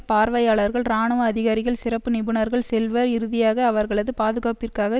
பார்வையாளர்கள் இராணுவ அதிகாரிகள் சிறப்பு நிபுணர்கள் செல்வர் இறுதியாக அவர்களது பாதுகாப்பிற்காக